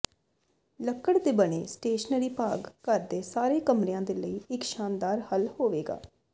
ਲੱਕੜ ਦੇ ਬਣੇ ਸਟੇਸ਼ਨਰੀ ਭਾਗ ਘਰ ਦੇ ਸਾਰੇ ਕਮਰਿਆਂ ਦੇ ਲਈ ਇੱਕ ਸ਼ਾਨਦਾਰ ਹੱਲ ਹੋਵੇਗਾ